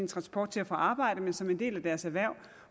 transport til og fra arbejde men som en del af deres erhverv